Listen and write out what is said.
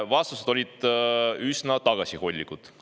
Vastused on olnud üsna tagasihoidlikud.